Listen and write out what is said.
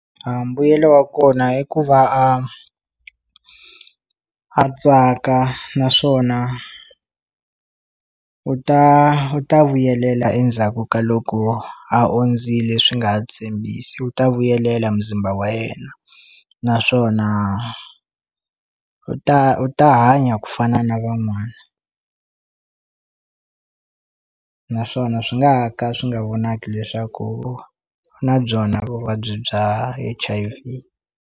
A mbuyelo wa kona i ku va a a tsaka naswona u ta u ta vuyelela endzhaku ka loko ondzile swi nga ha tshembisi u ta vuyelela muzimba wa yena naswona u ta u ta hanya ku fana na van'wana naswona swi nga ka swi nga vonaki leswaku u na byona vuvabyi bya H_I_V.